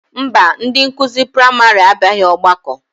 Mba, ndị nkụzi praịmarị abịaghị ọgbakọ